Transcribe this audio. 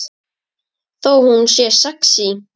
Þó hún sé sexí.